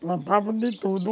Plantavam de tudo.